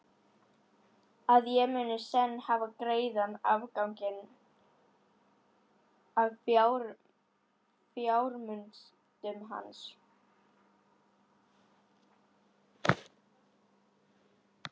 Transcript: Að ég muni senn hafa greiðan aðgang að fjármunum hans?